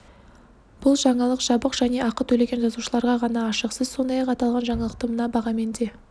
бұл жаңалық жабық және ақы төлеген жазылушыларға ғана ашық сіз сондай-ақ аталған жаңалықты мына бағамен де